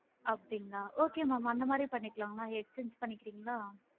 அப்படிங்களா okay ma'am அந்த மாதிரி பண்ணிக்கலாம் mam exchange பண்ணிக்கிரின்களா?